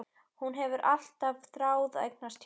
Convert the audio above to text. Hún hefur alltaf þráð að eignast tjald.